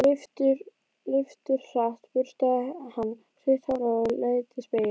Leifturhratt burstaði hún stutt hárið og leit í spegil.